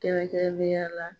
Kɛrɛnkɛrɛnnenya la